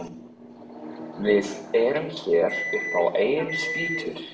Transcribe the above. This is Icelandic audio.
Við erum hér upp á eigin spýtur.